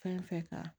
Fɛn fɛn kan